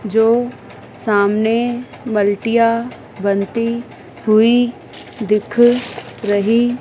जो सामने मलटिया बनती हुईं दिख रही--